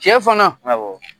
Cɛ fana